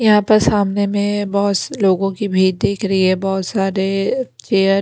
यहां पर सामने में बहुत लोगों की भीर दिख रही है बहुत सारे चेयर --